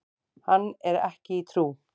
Hann er ekki í trú.